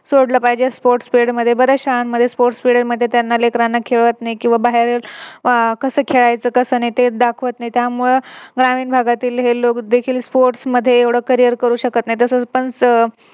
सोडलं पाहिजे. Sports period मध्ये, बऱ्याच शाळांमध्ये Sports period मध्ये त्यांना लेकरांना खेळवत नाही किव्हा बाहेर अह कसं खेळायचं कस नाही ते दाखवत नाही त्यामुळे ग्रामीण भागातील हे देखील Sports मध्ये एवढं Career करू शकत नाही. तसंच